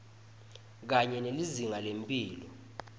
kanye nelizinga lemphilo